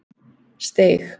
Steig